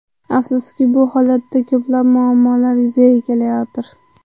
Afsuski, bu holatda ko‘plab muammolar yuzaga kelayotir.